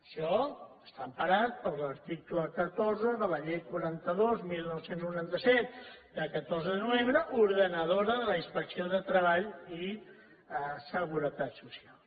això està emparat per l’article catorze de la llei quaranta dos dinou noranta set de catorze de novembre ordenadora de la inspecció de treball i seguretat social